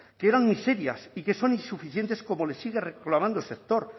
que eran miserias y que son insuficientes como le sigue reclamando el sector